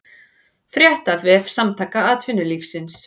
Frétt á vef Samtaka atvinnulífsins